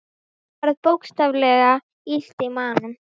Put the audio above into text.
Honum varð bókstaflega illt í maganum.